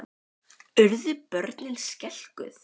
Þóra Kristín Ásgeirsdóttir: Urðu börnin skelkuð?